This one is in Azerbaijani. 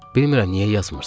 Bilmirəm niyə yazmırsız.